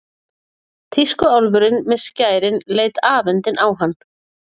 Tískuálfurinn með skærin leit afundinn á hann.